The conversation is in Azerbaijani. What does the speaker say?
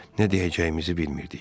Nə deyəcəyimizi bilmirdik.